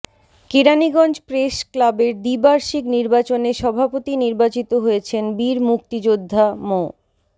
Keraniganj press ক্লাবের দ্বিবার্ষিক নির্বাচনে সভাপতি নির্বাচিত হয়েছেন বীর মুক্তিযোদ্ধা মো